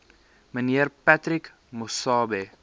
mnr patrick masobe